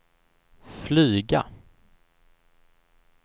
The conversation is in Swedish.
flyga